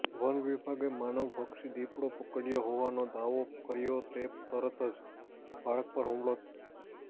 વનવિભાગે માનવભક્ષી દીપડો પકડ્યો હોવાનો દાવો કર્યો ને તરત જ બાળક પર હુમલો